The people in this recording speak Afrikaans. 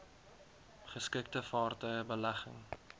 geskikte vaartuie belegging